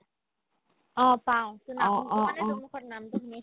অ, পাও